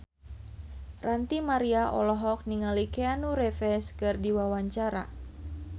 Ranty Maria olohok ningali Keanu Reeves keur diwawancara